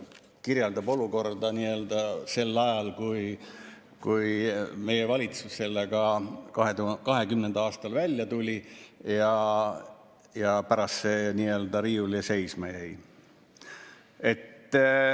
Kirjeldab olukorda sel ajal, kui meie valitsus sellega 2020. aastal välja tuli, ja pärast see nii-öelda riiulile seisma jäi.